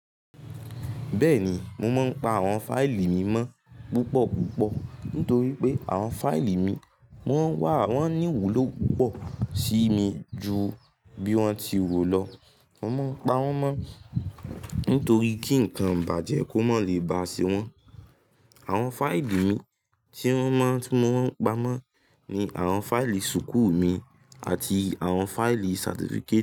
Bẹ́ẹ̀ni, mo máa ń pa àwọn fáìlì mi mọ́ púpọ̀ púpọ̀ nítorí pé àwọn fáìlì mi wọ́n wà, wọ́n ní ìwúlò púpọ̀ sí mi ju bí wọ́n ti ro lọ. Mo máa ń pa wọ́n mọ́ nítorí kí ǹkan ibàjẹ́ kó mọ́ lè ba ṣe wọ́n. Àwọn fáìlì mi tí wọ́n máa, tí mo máa ń pa mọ́ ni àwọn fáìlì súkùu mi àti àwọn fáìlì certificate.